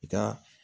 I ka